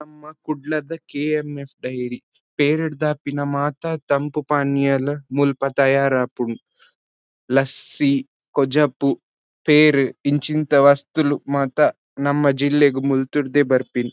ನಮ್ಮ ಕುಡ್ಲದ KMF. Dairy ಪೇರ್ದ್ ಆಪಿನ ಮಾತ ತಂಪು ಪಾನೀಯಲ್ ಮುಲ್ಪ ತಯಾರ್ ಆಪುಂಡು ಲಸ್ಸಿ ಕೊಜಪು ಪೇರ್ ಇಂಚಿಂತ ವಸ್ತುಲು ಮಾತ ನಮ್ಮ ಜಿಲ್ಲೆಗ್ ಮುಲ್ತುರ್ದೆ ಬರ್ಪಿನಿ.